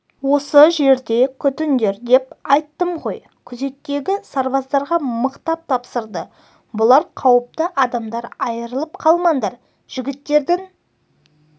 осы жерде күтіңдер деп айттым ғой күзеттегі сарбаздарға мықтап тапсырды бұлар қауіпті адамдар айрылып қалмаңдар жігіттердің